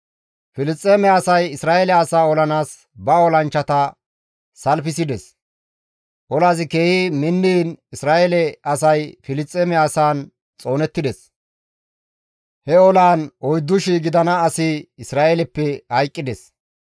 Filisxeeme asay Isra7eele asaa olanaas ba olanchchata salfisides; olazi keehi minniin Isra7eele asay Filisxeeme asaan xoonettides. He olaan 4,000 gidana asi Isra7eeleppe hayqqides.